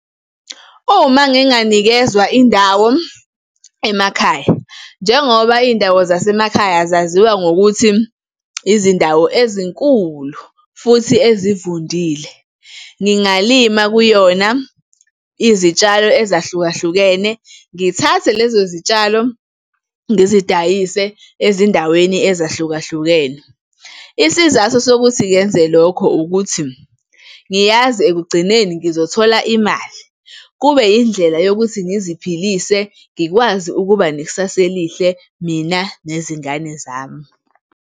Uma nginganikezwa indawo emakhaya, njengoba iy'ndawo zasemakhaya zaziwa ngokuthi izindawo ezinkulu futhi ezivundile, ngingalima kuyona izitshalo ezahlukahlukene, ngithathe lezo zitshalo ngizidayise ezindaweni ezahlukahlukene. Isizathu sokuthi ngenze lokho ukuthi, ngiyazi ekugcineni ngizothola imali, kube indlela yokuthi ngiziphilise ngikwazi ukuba nekusasa elihle mina nezingane zami.